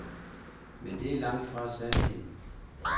Men det er langt fra sandheden.